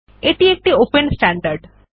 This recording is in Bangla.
এটি একটি ওপেন স্ট্যান্ডার্ড